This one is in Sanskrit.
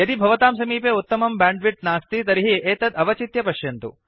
यदि भवतां समीपे उत्तमं बैण्डविड्थ नास्ति तर्हि एतत् अवचित्य पश्यन्तु